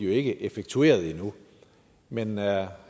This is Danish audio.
ikke effektueret endnu men er